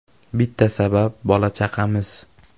Bitta sabab bola-chaqamiz.